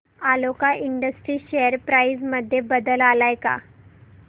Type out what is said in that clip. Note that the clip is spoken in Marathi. आलोक इंडस्ट्रीज शेअर प्राइस मध्ये बदल आलाय का